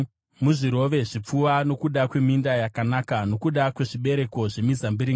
Muzvirove zvipfuva nokuda kweminda yakanaka, nokuda kwezvibereko zvemizambiringa,